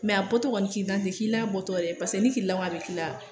Mɛ a bɔtɔ kɔni kirinan ti k'i la a bɔtɔ dɛ pa paseke ni kirilan ko k'a bɛ k'i la.